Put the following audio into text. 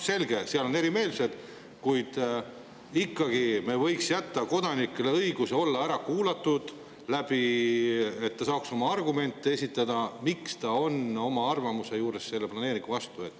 Selge, et tekivad erimeelsused, ja me võiks ikkagi jätta kodanikele õiguse olla ära kuulatud, et nad saaks esitada oma argumente, miks selle planeeringu vastu.